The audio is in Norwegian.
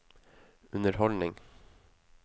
underholdning